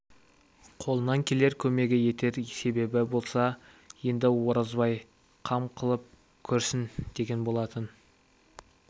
қолынан келер көмегі етер себебі болса енді оразбай қам қылып көрсін деген болатын